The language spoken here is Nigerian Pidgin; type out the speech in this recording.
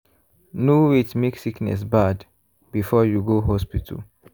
no wait make sickness bad before you go hospital.